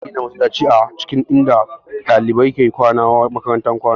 Ana gina masallatai a cikin inda ɗalibai ke kwana a makarantun kwana